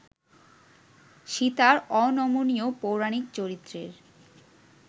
সীতার অনমনীয় পৌরাণিক চরিত্রের